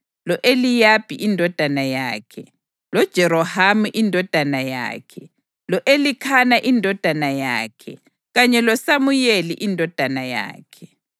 lo-Eliyabi indodana yakhe, loJerohamu indodana yakhe, lo-Elikhana indodana yakhe kanye loSamuyeli indodana yakhe.